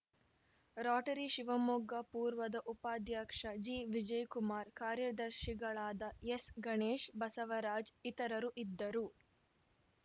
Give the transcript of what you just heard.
Rotary Shivamogga ಪೂರ್ವದ ಉಪಾಧ್ಯಕ್ಷ ಜಿವಿಜಯಕುಮಾರ್‌ ಕಾರ್ಯದರ್ಶಿಗಳಾದ ಎಸ್‌ಗಣೇಶ್‌ ಬಸವರಾಜ್‌ ಇತರರು ಇದ್ದರು